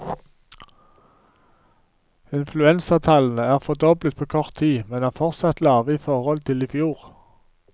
Influensatallene er fordoblet på kort tid, men er fortsatt lave i forhold til i fjor.